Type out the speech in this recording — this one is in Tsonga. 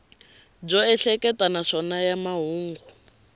byo ehleketa naswona ya mahungu